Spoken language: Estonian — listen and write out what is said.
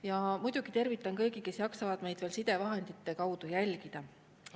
Ja muidugi tervitan kõiki, kes jaksavad meid sidevahendite kaudu jälgida.